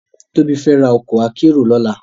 Tobi fè rá òkò àkèéró lòlá